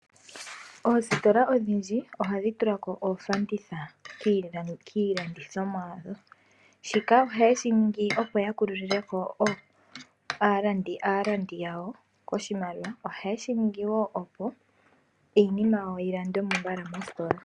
Oositola odhindji ohadhi tulako oofanditha kiilandithamwa yawo shika ohayeshi ningi opo ya kululileko aalandi yawo koshimaliwa nohayeshi ningi opo iinima yawo yilandwemo mbala mositola.